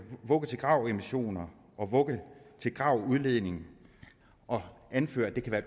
vugge til grav emissioner og vugge til grav udledning og anfører at det kan være